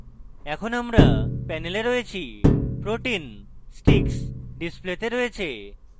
এখন আমরা panel রয়েছি protein sticks ডিসপ্লেতে রয়েছে